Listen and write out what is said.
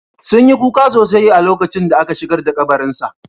Sun yi kuka sosai a lokacin da aka shigar da kabarin sa